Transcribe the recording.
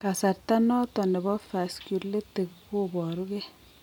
Kasarta noton nebo vasculitic koboru gee